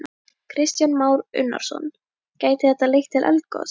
Kristján Már Unnarsson: Gæti þetta leitt til eldgoss?